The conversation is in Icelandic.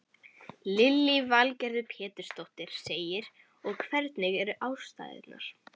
Lillý Valgerður Pétursdóttir: Og hvernig eru aðstæður?